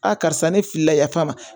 Aa karisa ne filila yaf'a ma